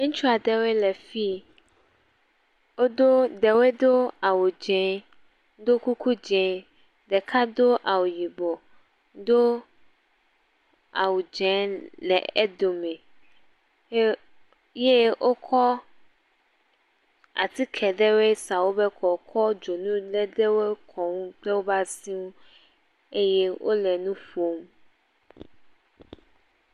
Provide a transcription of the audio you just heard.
Ŋutsua ɖewo le fii wodo ɖewo do awu dzɛ do kuku dzɛ ɖeka do awu yibɔ, do awu dzɛ le eɖome ye wokɔ atike ɖewo sa wobe kɔ, kɔ dzonu ɖewo sa wo kɔ kple woƒe asiwo